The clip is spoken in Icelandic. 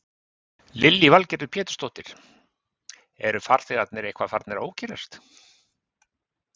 Lillý Valgerður Pétursdóttir: Eru farþegarnir eitthvað farnir að ókyrrast?